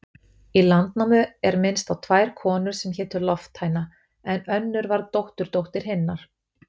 Í Landnámu er minnst á tvær konur sem hétu Lofthæna, en önnur var dótturdóttir hinnar.